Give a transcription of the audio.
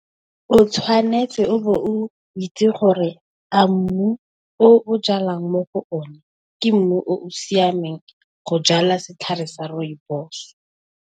O tshwanetse o be o itse gore a mmu o o jalang mo go o ne, ke mmu o o siameng go jala setlhare sa Rooibos